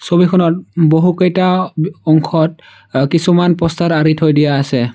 ছবিখনত বহুকেইটা অংশত কিছুমান প'ষ্টাৰ আৰি থৈ দিয়া আছে।